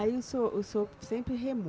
Aí o senhor, o senhor sempre remou?